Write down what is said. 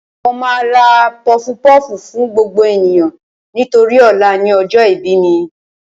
Mo máa ra pọfupọ́ọ̀fù fún gbogbo ènìyàn nítorí ọ̀la ni ọjọ́ ìbí mi